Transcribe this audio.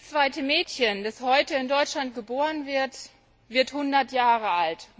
Jedes zweite Mädchen, das heute in Deutschland geboren wird, wird 100 Jahre alt.